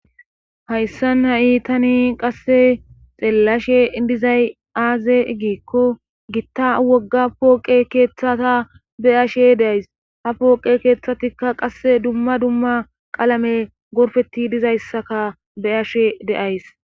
Hayssan ha'i tani qasse xeelashe dizay aaze giikko gita wogga pooqe keethata be'ashe de'ays. ha pooqe keehthatikka qasse dumma dumma qalamen gorppetidi dizayssakka be'ashe de'ayssi